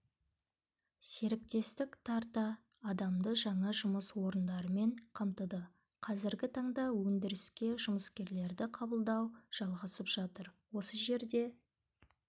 серіктестік тарта адамды жаңа жұмыс орындарымен қамтыды қазіргі таңда өндіріске жұмыскерлерді қабылдау жалғасып жатыр осы жерде